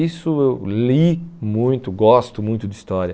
Isso eu li muito, gosto muito de história.